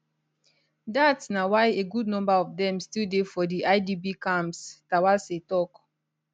dat na why a good number of dem still dey for di idp camps terwase tok